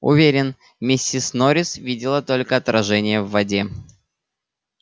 уверен миссис норрис видела только отражение в воде